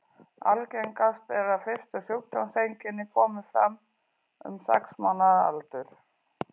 Algengast er að fyrstu sjúkdómseinkenni komi fram um sex mánaða aldur.